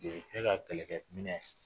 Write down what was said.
De ye ne ka kɛlɛkɛ minɛ